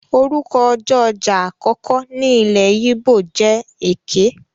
Orúkọ ọjọ́ ọjà àkọ́kọ́ ní ilé yíbò jẹ Eké.